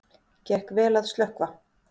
Gekk vel að slökkva